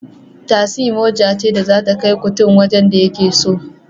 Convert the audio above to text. Tasi mota ce da zata kai kutun wajen da yake so